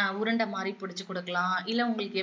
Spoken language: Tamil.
ஆஹ் உருண்டை மாதிரி புடிச்சி குடுக்கலாம் இல்ல உங்களுக்கு